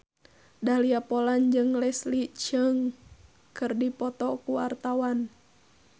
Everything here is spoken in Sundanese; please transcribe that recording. Dahlia Poland jeung Leslie Cheung keur dipoto ku wartawan